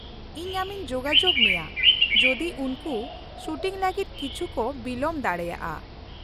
-ᱤᱧ ᱟᱢᱤᱧ ᱡᱳᱜᱟᱡᱳᱜ ᱢᱮᱭᱟ ᱡᱩᱫᱤ ᱩᱱᱠᱩ ᱥᱩᱴᱤᱝ ᱞᱟᱹᱜᱤᱫ ᱠᱤᱪᱷᱩ ᱠᱚ ᱵᱤᱞᱚᱢ ᱫᱟᱲᱮᱭᱟᱜᱼᱟ᱾